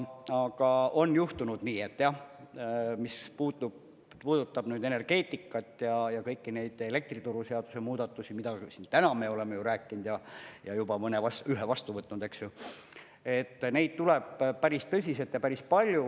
Aga on juhtunud nii, et jah, mis puudutab energeetikat ja kõiki neid elektrituruseaduse muudatusi, mida me siin ka täna oleme ju rääkinud ja juba ühe vastu võtnud – neid tuleb päris tõsiselt ja päris palju.